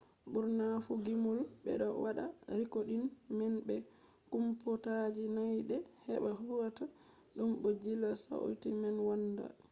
burna fu gimol be do wada rikoodin man be kompuutaji nyadde heba hauta dum bo jilla sauti man wonnda